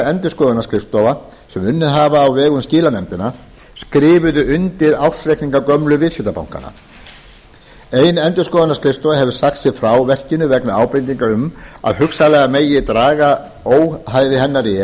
endurskoðunarskrifstofa sem unnið hafa á vegum skilanefndanna skrifuðu undir ársreikninga gömlu viðskiptabankanna ein endurskoðunarskrifstofa hefur sagt sig frá verkinu vegna ábendinga um að hugsanlega megi draga óhæði hennar í